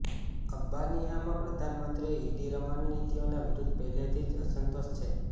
અલ્બાનિયામાં પ્રધાનમંત્રી ઇદી રમાની નીતિઓની વિરુદ્ધ પહેલેથી જ અસંતોષ છે